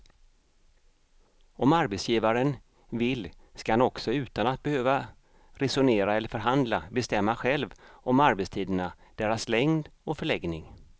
Om arbetsgivaren vill ska han också utan att behöva resonera eller förhandla bestämma själv om arbetstiderna, deras längd och förläggning.